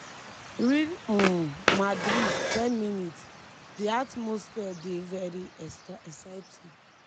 real um madrid 10mins- di atmosphere dey very exciting.